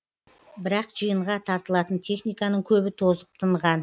бірақ жиынға тартылатын техниканың көбі тозып тынған